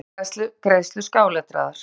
Áætlaðar greiðslur skáletraðar.